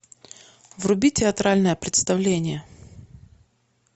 вруби театральное представление